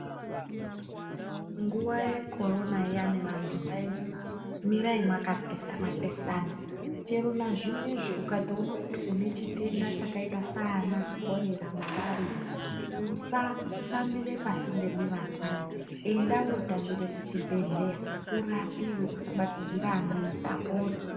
Nguwa yekhorona iyana vanhu vayindzi mirayi makapesana pesana. Chero nazvinozvi ukatowona kuti unechitenda chakayita sana khorera, marariya, usatambire pasinde nevandane. Enda wotambire kuchibhedhleya, urapiwe usabatidzira amweni ndapota.